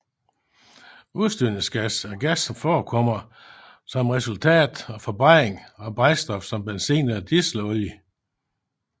Udstødningsgas er gas som forekommer som et resultat af forbrændning af brændstof som benzin eller dieselolie